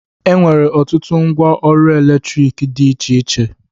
E nwere ọtụtụ ngwa ọrụ elektriki dị iche iche